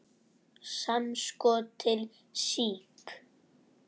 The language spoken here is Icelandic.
Samskot til SÍK.